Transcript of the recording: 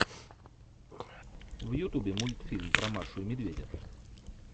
в ютубе мультфильм про машу и медведя